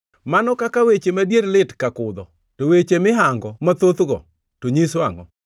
Mano kaka weche madier lit kaka kudho! To weche mihango mathothgo, to nyiso angʼo?